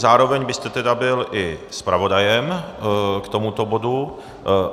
Zároveň byste tedy byl i zpravodajem k tomuto bodu.